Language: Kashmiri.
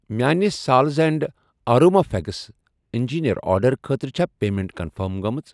میانہِِ سالز اینٛڈ اروما فیگِس اِنٛجیٖٖر آرڈرٕ خٲطرٕ چھا پیمیٚنٹ کنفٔرم گٔمٕژ؟